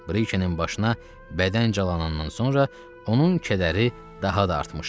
Brikenin başına bədən calanandan sonra onun kədəri daha da artmışdı.